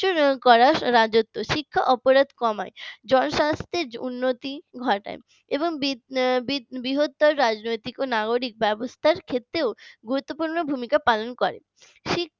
করার রাজত্ব শিক্ষা অপরাদ কমায় জনস্বাস্থ্যের উন্নতি ঘটায় এবং বৃহত্তর রাজনৈতিক ও নাগরিকতার ব্যবস্থা ক্ষেত্রেও গুরুত্বপূর্ণ ভূমিকা পালন করে শিক্ষা